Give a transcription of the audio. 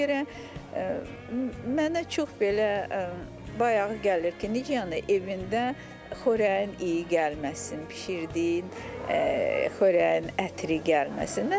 Ona görə mənə çox belə bayağı gəlir ki, necə yəni evində xörəyin iyi gəlməsin, bişirdiyin xörəyin ətri gəlməsin.